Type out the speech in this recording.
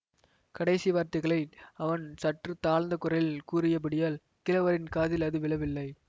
கடைசி வார்த்தைகளை அவன் சற்று தாழ்ந்த குரலில் கூறியபடியால் கிழவரின் காதில் அது விழவில்லை